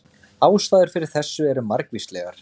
Ástæður fyrir þessu eru margvíslegar.